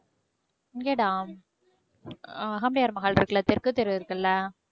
இங்க டா அஹ் அகமுடையார் மஹால் இருக்குல்ல தெற்கு தெரு இருக்குல்ல?